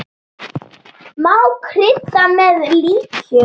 Má krydda með líkjör.